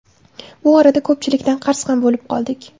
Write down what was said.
Bu orada ko‘pchilikdan qarz ham bo‘lib qoldik.